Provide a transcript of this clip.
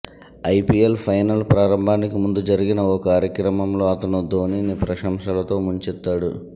IPL final ప్రారంభానికి ముందు జరిగిన ఓ కార్యక్రమంలో అతను ధోనీని ప్రశంసలతో ముంచెత్తాడు